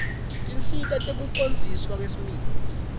tinsita tekucondziswa kwesimilo